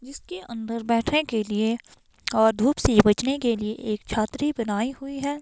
जिसके अंदर बैठने के लिए और धूप से बचने के लिए एक छतरी बनाई हुई है।